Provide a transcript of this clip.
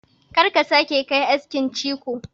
Kar ka sake ka yi askin ciko!